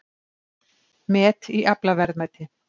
Met í aflaverðmæti